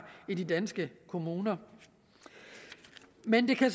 i de danske kommuner men det kan